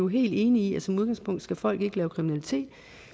helt enige i at som udgangspunkt skal folk ikke lave kriminalitet